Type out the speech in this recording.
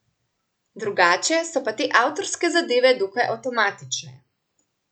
Drugače so pa te avtorske zadeve dokaj avtomatične.